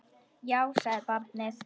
Já, sagði barnið.